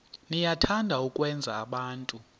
niyathanda ukwenza abantu